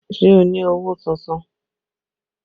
Ṣé o ni owó tuntun?